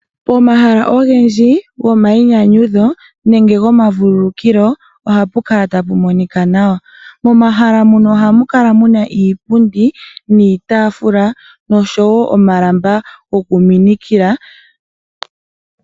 Pomahala ogendji gwomayinyanyudho nenge gwomavululukilo ohapu kala tapu monika nawa, momahala muno ohamu kala mu na iipundi niitaafula noshowo omalamba gwokuminikila.